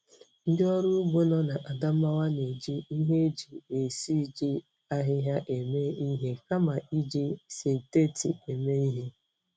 Ndị ọrụ ugbo nọ na Adamawa na-eji ihe eji esiji ahịhịa eme ihe kama iji sịntetị eme ihe.